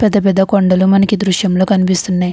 పెద్ద పెద్ద కొండలు మనకి ఈ దూసియం లో కనిపిస్తున్నాయి.